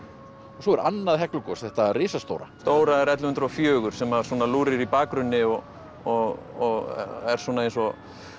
svo er annað Heklugos þetta risastóra stóra er ellefu hundruð og fjögur sem að svona lúrir í bakgrunni og og er svona eins og